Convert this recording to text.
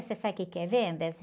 Você sabe o quê que é vendas?